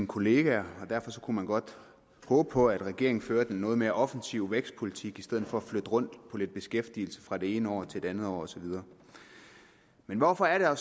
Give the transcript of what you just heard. kollegaer derfor kunne man godt håbe på at regeringen førte en noget mere offensiv vækstpolitik i stedet for at flytte rundt på lidt beskæftigelse fra det ene år til det andet og så videre men hvorfor er